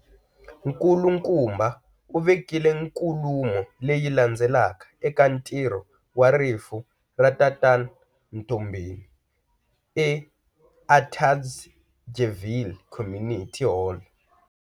Nkulukumba uvekile nkulumo leyi landzelaka eka ntirho wa rifu ra tatan Mtombeni e Atteridgeville Community Hall.